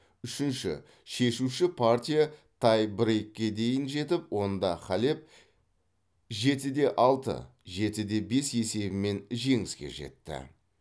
үшінші шешуші партия тай брейкке дейін жетіп онда халеп жеті де алты жеті де бес есебімен жеңіске жетті